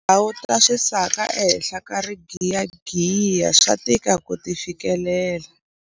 Tindhawu ta swisaka ehenhla ka rigiyagiya swa tika ku ti fikelela.